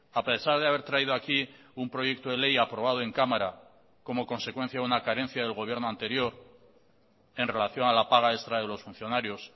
a pesar de haber traído aquí un proyecto de ley aprobado en cámara como consecuencia de una carencia del gobierno anterior en relación a la paga extra de los funcionarios